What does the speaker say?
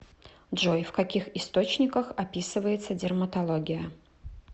джой в каких источниках описывается дерматология